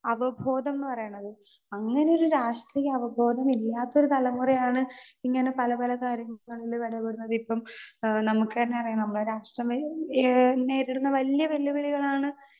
Speaker 2 അവബോധം എന്ന് പറയണത്. അങ്ങനെയൊരു രാഷ്ട്രീയ അവബോധം ഇല്ലാത്ത ഒരു തലമുറയാണ് ഇങ്ങനെ പല പല കാര്യങ്ങളിൽ ഇടപെടുന്നത് ഇപ്പോ ആ നമുക്കന്നെ അറിയാം നമ്മടെ രാഷ്ട്രം ആ നേരിടുന്ന വല്യ വെല്ലുവിളികളാണ്